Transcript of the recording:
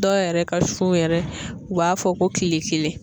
Dɔw yɛrɛ ka sun yɛrɛ u b'a fɔ ko kile kelen.